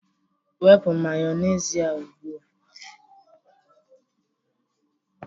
Wepu Mayonezi a ugbu a